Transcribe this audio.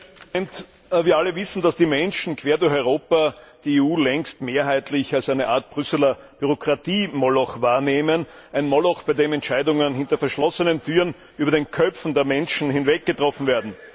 Herr Präsident! Wir alle wissen, dass die Menschen quer durch Europa die EU längst mehrheitlich als eine Art Brüsseler Bürokratiemoloch wahrnehmen, ein Moloch, bei dem Entscheidungen hinter verschlossenen Türen über den Köpfen der Menschen hinweg getroffen werden.